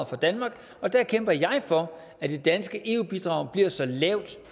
for danmark og der kæmper jeg for at det danske eu bidrag bliver så lavt